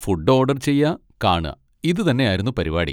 Food order ചെയ്യാ, കാണാ, ഇതുതന്നെ ആയിരുന്നു പരിപാടി.